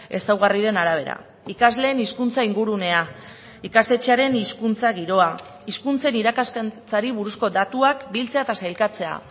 ezaugarriren arabera ikasleen hizkuntza ingurunea ikastetxearen hizkuntza giroa hizkuntzen irakaskuntzari buruzko datuak biltzea eta sailkatzea